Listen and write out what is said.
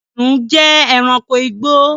Kìnnìún jẹ́ èránkò igbó